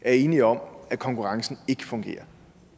er enige om at konkurrencen ikke fungerer